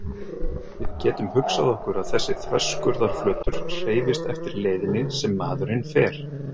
Við getum hugsað okkur að þessi þverskurðarflötur hreyfist eftir leiðinni sem maðurinn fer.